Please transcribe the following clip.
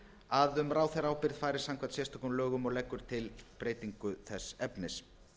að um ráðherraábyrgð fari samkvæmt sérstökum lögum og leggur til breytingu þess efnis